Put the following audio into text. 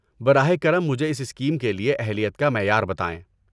براہ کرم مجھے اس اسکیم کے لیے اہلیت کا معیار بتائیں۔